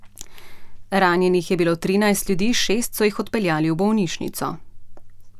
Ranjenih je bilo trinajst ljudi, šest so jih odpeljali v bolnišnico.